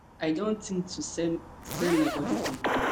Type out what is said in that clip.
i don tink to sell sell my body for money